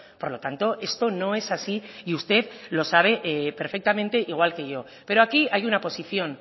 por lo tanto esto no es así y usted lo sabe perfectamente igual que yo pero aquí hay una posición